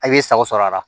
A' bɛ sago sɔrɔ a la